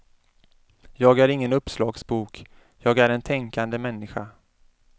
Jag är ingen uppslagsbok, jag är en tänkande människa.